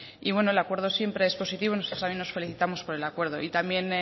y bueno el acuerdo siempre es positivo nosotros también nos felicitamos por el acuerdo y también